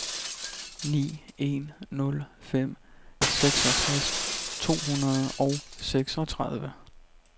ni en nul fem seksogtres to hundrede og seksogtredive